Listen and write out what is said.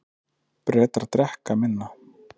Bretar drekka minna